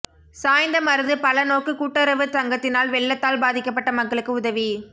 சாய்ந்தமருது பல நோக்கு கூட்டறவு சங்கத்தினால் வெள்ளத்தால் பாதிக்கபட்ட மக்களுக்கு உதவி